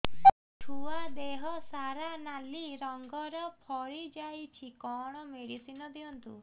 ଛୁଆ ଦେହ ସାରା ନାଲି ରଙ୍ଗର ଫଳି ଯାଇଛି କଣ ମେଡିସିନ ଦିଅନ୍ତୁ